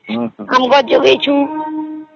ଆମ୍ବ ଗଛ ଏବଂ ଅଛି